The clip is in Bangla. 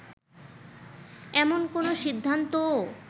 এমন কোন সিদ্ধান্তও